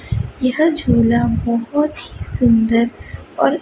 यह झूला बहोत ही सुन्दर और--